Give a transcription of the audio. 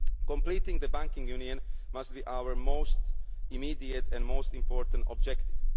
Completing the banking union must be our most immediate and most important objective.